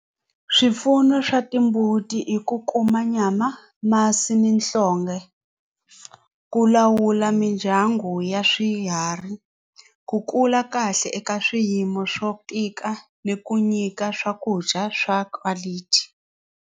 Swipfuno swa timbuti i ku kuma nyama masi ni nhlonge ku lawula mindyangu ya swiharhi ku kula kahle eka swiyimo swo tika ni ku nyika swakudya swa quality.